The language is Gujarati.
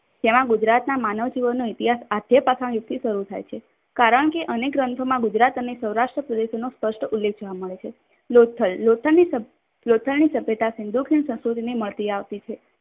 તેમાં ગુજરાતના માનવ જીવનનો ઇતિહાસ આધયેય યુદ્ધથી શરૂ થાય છે. કારણ કે અનેક ગ્રંથોમાં ગુજરાત અને સૌરાષ્ટ્ર પ્રેદેશનો સ્પષ્ટ ઉલ્લેખ જોવા મળે છે. લોથલ. લોથલની સંસ્કૃતિને મળતી આવતી છે.